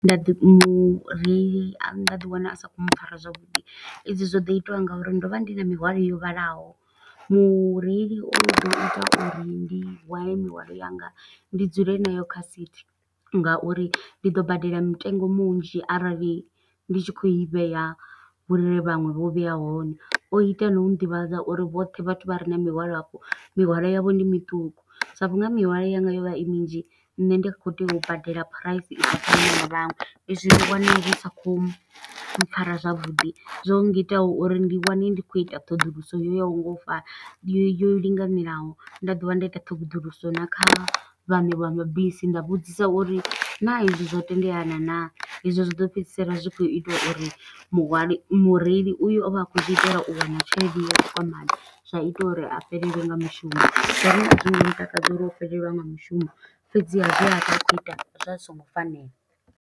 Nda ḓi mureili a nda ḓi wana a sa khou mpfara zwavhuḓi, edzi zwo ḓo itiwa nga uri ndo vha ndi na mihwalo yo vhalaho. Mureili o ḓo ita uri ndi wale mihwalo yanga, ndi dzule nayo kha sithi nga uri ndi ḓo badela mitengo munzhi. Arali ndi tshi khou i vhea, hune vhaṅwe vho vheya hone. O ita no ḓivhadza uri vhoṱhe vhathu vha re na mihwalo afho, mihwalo yavho ndi miṱuku. Sa vhunga mihwalo yanga yo vha i minzhi nṋe ndi kho tea u badela phuraisi i sa fani na vhaṅwe. I zwi ndo wana zwi sa khou mpfara zwavhuḓi, zwo ngitaho uri ndi wane ndi khou ita ṱhoḓuluso yo yaho nga u fana, yo yo linganelaho. Nda dovha nda ita ṱhoḓuluso na kha vhaṋe vha mabisi, nda vhudzisa uri naa hezwo tendelana naa? i zwo zwi ḓo fhedzisela zwi khou ita uri muhali mureili uyo o vha a khou ḓi itela u wana tshelede yo tshikwamani. Zwa ita uri a fhelelwe nga mushumo, zwone a zwi ngo ntakadza uri o fhelelwa nga mushumo. Fhedziha zwe a vha a khou ita, zwa zwi songo fanela.